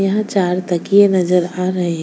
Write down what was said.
यहाँ चार तकिये नजर आ रहे है।